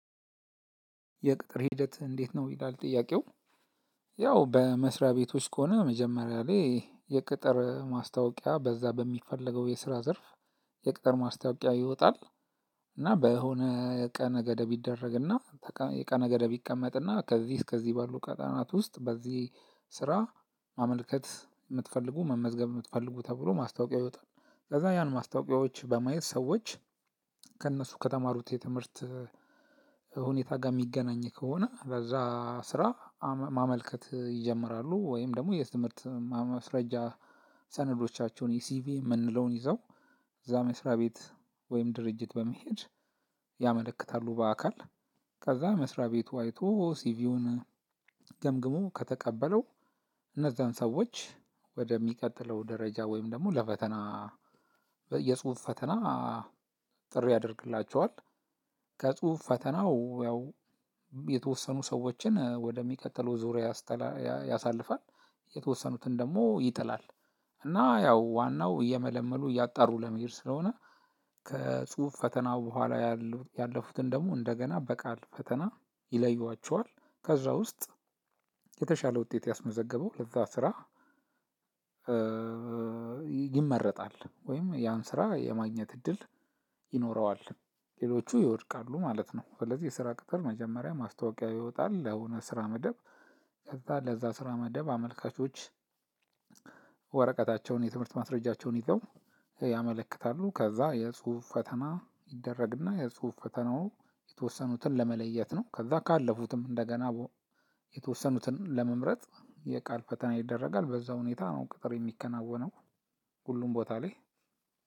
የቅጥር ሂደት እንዴት? ነው ይላል ጥያቄው ያው በመስሪያ ቤቶች ከሆነ መጀመሪያ ላይ የቅጥር ማስታወቂያ በዛ በሚፈለገው የስራ ዘርፍ። የቅጥር ማስታወቂያ ይወጣል። እና በሆነ ቀነ ገደብ ይደረግና የቀነ ገደብ ይቀመጥና ከዚህ እስከዚህ ባሉ ቀጠናት ውስጥ በዚህ ስራ ማመልከት የምትፈልጉ መመዝገብ የምትፈልጉ ተብሎ ማስታወቂያ ይወጣል። ከዛ ያን ማስታወቂያዎች በማየት ሰዎች ከእነሱ ከተማሩት የትምህርት ሁኔታ ጋር የሚገናኝ ከሆነ ለዛ ስራ ማመልከት ይጀምራሉ። ወይም ደግሞ የትምህርት ማስረጃ ሰነዶቻችሁን ሲቪ የምንለውን ይዘው እዛ መስሪያ ቤት ወይም ድርጅት በመሄድ ያመለክታሉ። በአካል ከዛ መስሪያ ቤቱ አይቶ ሲቪውን ገምግሞ ከተቀበለው እነዛን ሰዎች ወደሚቀጥለው ደረጃ ወይም ደግሞ ለፈተና የጽሁፍ ፈተና ጥሪ ያደርግላቸዋል። ከጽሁፍ ፈተናው ያው የተወሰኑ ሰዎችን ወደሚቀጥሉ ዙሪያ ያስተላ ያሳልፋል። የተወሰኑትን ደግሞ ይጥላል። እና ያው ዋናው እየመለመሉ እያጣሩ ለመሄድ ስለሆነ። ከጽሁፍ ፈተናው በኋላ ያሉ ያለፉትን ደግሞ እንደገና በቃል ፈተና ይለይዋቸዋል። ከዛ ውስጥ የተሻለ ውጤት ያስመዘገበው ለዛ ስራ ይመረጣል ወይም ያን ስራ የማግኘት እድል ይኖረዋል ሌሎቹ ይወድቃሉ ማለት ነው። ስለዚህ የስራ ቅጥር መጀመሪያ ማስታወቂያ ይወጣል ለሆነ ስራ መደብ። ከዛ ለዛ ስራ መደብ አመልካቾች ወረቀታቸውን የትምህርት ማስረጃቸውን ይዘው ያመለክታሉ። ከዛ የጽሁፍ ፈተና ይደረግና የጽሁፍ ፈተናው የተወሰኑትን ለመለየት ነው። ከዛ ካለፉትም እንደገና የተወሰኑትን ለመምረጥ የቃል ፈተና ይደረጋል በዛ ሁኔታ ነው ቅጥር የሚከናወነው። ሁሉም ቦታ ላይ።